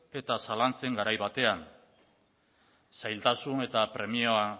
eta zalantzen garai batean zailtasun eta premia